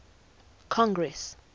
congress